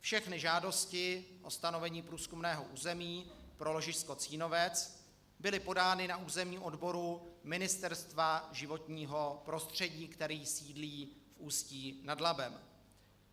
Všechny žádosti o stanovení průzkumného území pro ložisko Cínovec byly podány na územním odboru Ministerstva životního prostředí, který sídlí v Ústí nad Labem.